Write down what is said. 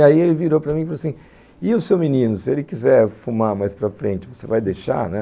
E aí ele virou para mim e falou assim, e o seu menino, se ele quiser fumar mais para frente, você vai deixar, né?